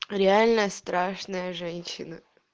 реальная страшная женщина